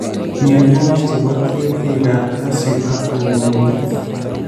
myanwogik che po keetiikap Kasyu ak Kandoindet